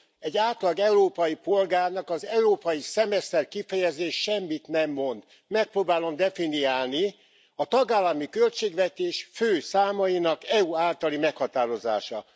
Egy átlag európai polgárnak az európai szemeszter kifejezés semmit nem mond. Megpróbálom definiálni a tagállami költségvetés fő számainak EU általi meghatározása.